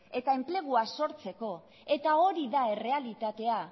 eta enplegua sortzeko eta hori da errealitatea